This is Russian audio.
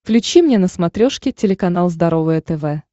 включи мне на смотрешке телеканал здоровое тв